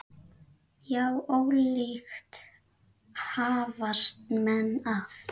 Já, ólíkt hafast menn að.